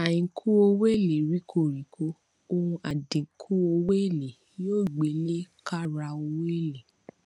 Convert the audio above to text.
àínkù owó èlé ríkọ ríkọ ọǹ àdínkù owó èlé yóò gbẹ lẹ káàrà owó èlé